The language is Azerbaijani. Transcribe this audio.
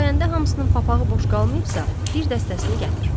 Sayəndə hamısının papağı boş qalmayıbsa, bir dəstəsini gətir.